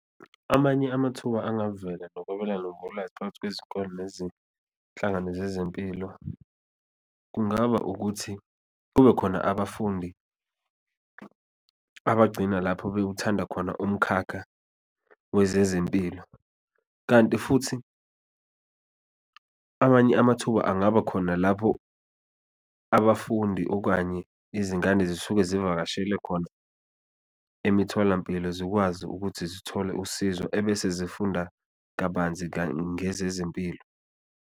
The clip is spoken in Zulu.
Amanye amathuba angavela nokwabelana ngolwazi phakathi kwezikolo nezinhlangano zezempilo kungaba ukuthi kube khona abafundi abagcina lapho bewuthanda khona umkhakha wezezempilo, kanti futhi abanye amathuba angaba khona lapho abafundi okanye izingane zisuke zivakashele khona emitholampilo. Zikwazi ukuthi zithole usizo ebese zifunda kabanzi ngezezempilo.